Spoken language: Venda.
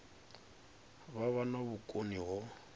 vha vha na vhukoni ho